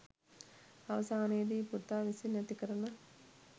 අවසානයේදී පුතා විසින් ඇතිකරන